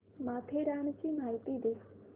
माथेरानची माहिती दे